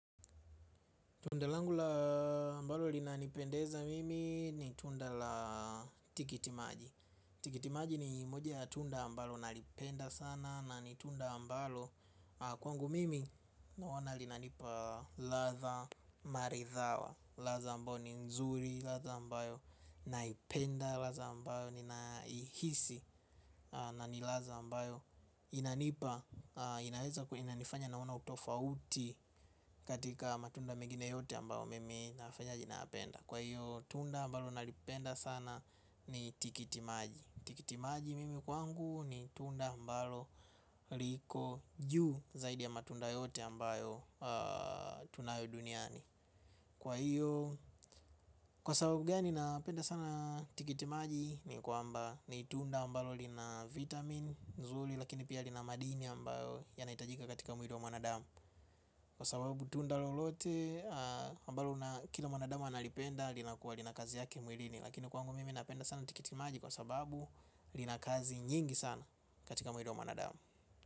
Tunda langu laa ambalo linanipendeza mimi ni tunda la tikitimaji. Tikitimaji ni moja ya tunda mbalo nalipenda sana na nitunda mbalo. Kwangu mimi naona linanipa ladha maridhawa. Ladha ambao ni nzuri, ladha ambayo naipenda, ladha mbao ninahihisi na ni ladha ambayo inanipa inaeza kuwa inanifanya naona utofauti katika matunda mengini yote ambayo mimi nafanyaje nayapenda kwa hiyo tunda ambalo nalipenda sana ni tikitimaji, tikitimaji mimi kwangu ni tunda ambalo liko juu zaidi ya matunda yote ambayo tunayo duniani. Kwa hiyo, kwa sababu gani napenda sana tikitimaji ni kwamba ni tunda ambalo lina vitamin nzuri lakini pia lina madini ambayo yanahitajika katika mwili wa mwanadamu. Kwa sababu tunda lolote ambalo kila mwanadamu analipenda linakuwa lina kazi yake mwilini. Lakini kwangu mimi napenda sana tikitimaji kwa sababu lina kazi nyingi sana katika mwili wa mwanadamu.